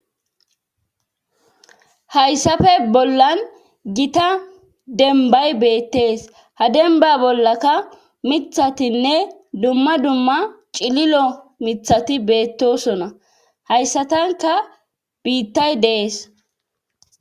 Hayssappe bollan gita dembay beettees. Ha demba bollaka mithatinne dumma dumma cililo mithati beettosona. Hayssatanka biittay dees.